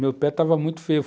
Meu pé estava muito feio.